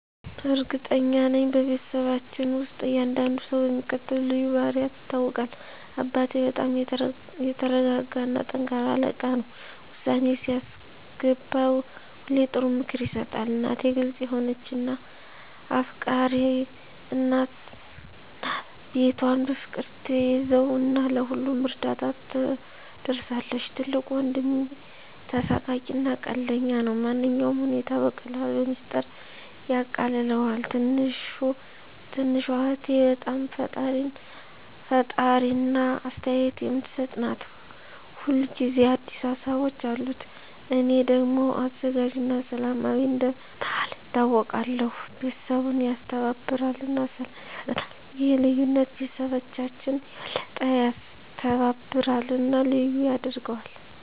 እርግጠኛ ነኝ፤ በቤተሰባችን ውስጥ እያንዳንዱ ሰው በሚከተሉት ልዩ ባህሪያት ይታወቃል - አባቴ በጣም የተረጋ እና ጠንካራ አለቃ ነው። ውሳኔ ሲያስገባ ሁሌ ጥሩ ምክር ይሰጣል። እናቴ ግልጽ የሆነች እና አፍቃሪች ናት። ቤቷን በፍቅር ትያዘው እና ለሁሉም እርዳታ ትደርሳለች። ትልቁ ወንድሜ ተሳሳቂ እና ቀልደኛ ነው። ማንኛውንም ሁኔታ በቀላሉ በሚስጥር ያቃልለዋል። ትንሹ እህቴ በጣም ፈጣሪ እና አስተያየት የምትሰጥ ናት። ሁል ጊዜ አዲስ ሀሳቦች አሉት። እኔ ደግሞ አዘጋጅ እና ሰላማዊ እንደ መሃከል ይታወቃለሁ። ቤተሰቡን ያስተባብራል እና ሰላም ይፈጥራል። ይህ ልዩነት ቤተሰባችንን የበለጠ ያስተባብራል እና ልዩ ያደርገዋል።